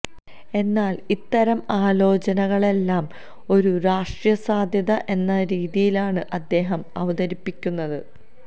എന്നാല് ഇത്തരം ആലോചനകളെയെല്ലാം ഒരു രാഷ്ട്രീയ സാധ്യത എന്ന രീതിയിലാണ് അദ്ദേഹം അവതരിപ്പിക്കുന്നത്